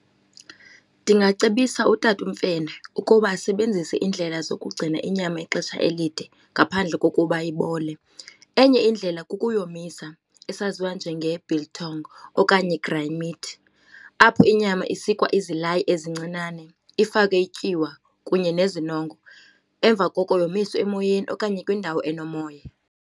Ndingacebisa utata uMfene ukuba asebenzise iindlela zokugcina inyama ixesha elide ngaphandle kokuba ibole. Enye indlela kukuyomisa esaziwa njenge-biltong okanye dry meat. Apho inyama isikwa izilayi ezincinane, ifakwe ityiwa kunye nezinongo, emva koko yomiswe emoyeni okanye kwindawo enomoya.